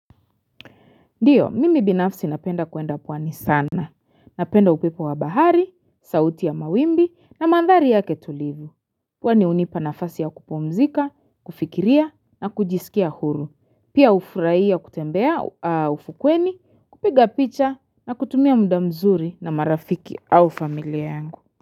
Ndiyo, mimi binafsi napenda kuenda pwani sana, napenda upepo wa bahari, sauti ya mawimbi na mandhari ya ketulivu. Pwani unipa nafasi ya kupumzika, kufikiria na kujisikia huru, pia ufurai kutembea ufukweni, kupiga picha na kutumia muda mzuri na marafiki au familia yangu.